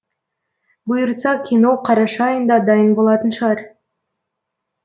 бұйыртса кино қараша айында дайын болатын шығар